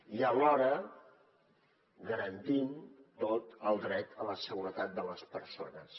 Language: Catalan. i alhora garantim tot el dret a la seguretat de les persones